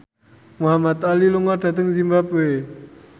Muhamad Ali lunga dhateng zimbabwe